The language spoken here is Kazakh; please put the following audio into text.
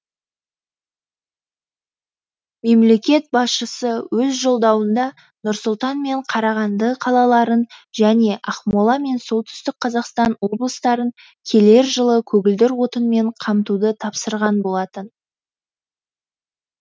мемлекет басшысы өз жолдауында нұр сұлтан мен қарағанды қалаларын және ақмола мен солтүстік қазақстан облыстарын келер жылы көгілдір отынмен қамтуды тапсырған болатын